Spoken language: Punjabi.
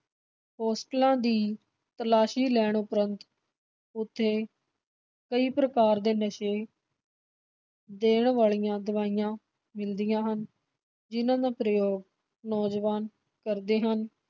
ਹੌਸਟਲਾਂ ਦੀ ਤਲਾਸ਼ੀ ਲੈਣ ਉਪਰੰਤ ਉਥੇ ਕਈ ਪ੍ਰਕਾਰ ਦੇ ਨਸ਼ੇ ਦੇਣ ਵਾਲੀਆਂ ਦਵਾਈਆਂ ਮਿਲਦੀਆਂ ਹਨ ਜਿਨ੍ਹਾਂ ਦਾ ਪ੍ਰਯੋਗ ਨੌਜਵਾਨ ਕਰਦੇ ਹਨ।